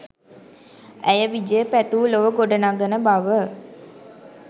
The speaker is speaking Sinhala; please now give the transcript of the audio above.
ඇය විජය පැතූ ලොව ගොඩ නඟන බව